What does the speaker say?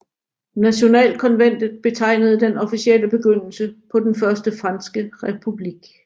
Nationalkonventet betegnede den officielle begyndelse på den Første franske republik